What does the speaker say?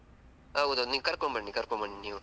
ಹೌದು ನೀವು ಕರ್ಕೊಂಡು ಬನ್ನಿ ಕರ್ಕೊಂಡು ಬನ್ನಿ ನೀವು.